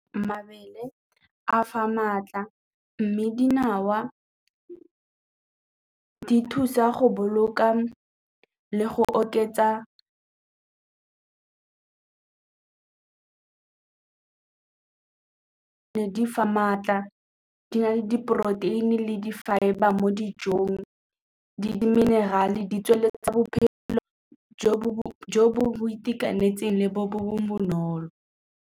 Mabele a fa maatla mme dinawa di thusa go boloka le go oketsa di fa maatla, di na le diporoteini le di-fibre mo dijong, di-mineral-e di tsweletsa bophelo bo bo itekanetseng le bo bonolo.